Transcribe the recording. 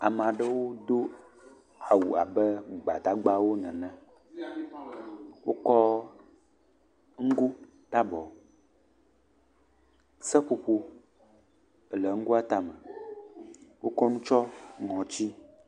Ame aɖewo do awu abe gbadagbawo nene, wokɔ ŋgo ɖe abɔ, seƒoƒo le ŋgoa tame, wokɔ nu tsyɔ̃ ŋɔti.